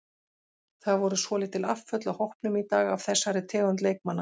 Það voru svolítil afföll af hópnum í dag af þessari tegund leikmanna.